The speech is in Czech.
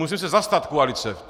Musím se zastat koalice.